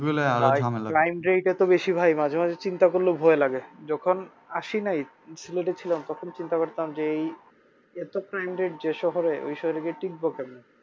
বেশি ভাই মাঝে মাঝে চিন্তা করলেও ভয় লাগে যখন আসি নাই সিলেটে এ ছিলাম তখন চিন্তা করতাম যে এই এত crime rate যে শহরে ওই শহরে গিয়ে টিকবো কেমনে